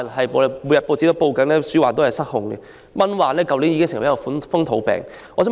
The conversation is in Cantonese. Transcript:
報章每天報道鼠患失控，蚊患去年已成為風土病。